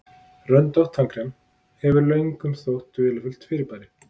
röndótt tannkrem hefur löngum þótt dularfullt fyrirbæri